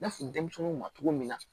N y'a f'i denmisɛnninw ma cogo min na